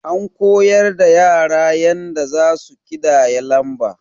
An koyar da yara yanda zasu ƙidaya lamba.